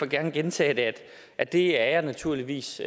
gerne gentage at det er jeg naturligvis